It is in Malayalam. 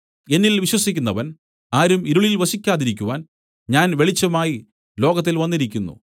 എന്നിൽ വിശ്വസിക്കുന്നവൻ ആരും ഇരുളിൽ വസിക്കാതിരിക്കുവാൻ ഞാൻ വെളിച്ചമായി ലോകത്തിൽ വന്നിരിക്കുന്നു